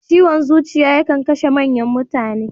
Ciwon zuciya ya kan kashe manyan mutane.